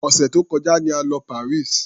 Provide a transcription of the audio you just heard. Òsẹ̀ tó kọjá ni a lọ Paris.